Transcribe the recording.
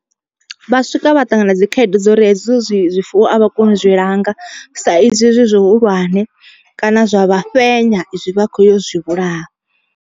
Vha swika vha ṱangana na dzikhaedu dza uri hedzi zwifuwo a vha koni u zwi langa sa izwi zwi zwihulwane, kana zwa vha fhenya vha kho yo u zwi vhulaya.